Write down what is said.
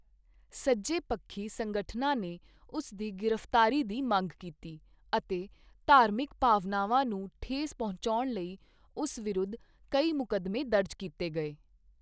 ਸੱਜੇ ਪੱਖੀ ਸੰਗਠਨਾਂ ਨੇ ਉਸ ਦੀ ਗ੍ਰਿਫਤਾਰੀ ਦੀ ਮੰਗ ਕੀਤੀ ਅਤੇ ਧਾਰਮਿਕ ਭਾਵਨਾਵਾਂ ਨੂੰ ਠੇਸ ਪਹੁੰਚਾਉਣ ਲਈ ਉਸ ਵਿਰੁੱਧ ਕਈ ਮੁਕੱਦਮੇ ਦਰਜ ਕੀਤੇ ਗਏ।